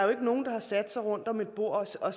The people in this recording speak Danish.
sat sig rundt om et bord og